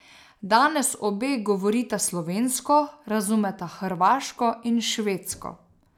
Danes obe govorita slovensko, razumeta hrvaško in švedsko.